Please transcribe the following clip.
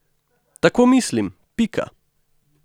Tako mislim, pika.